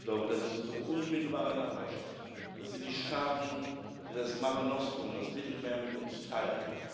Ich glaube, das ist unsere unmittelbare Nachbarschaft, dass sind die Staaten, die das Mare Nostrum das Mittelmeer, mit uns teilen.